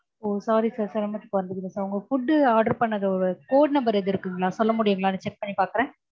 ஓ sorry sir சிரமத்திற்கு வருந்துகிறேன் sir உங்க food order பண்ணதோட code number எதும் இருக்குங்களா சொல்ல முடியுங்களா check பண்ணி பாக்குறேன்?